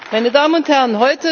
meine Damen und Herren!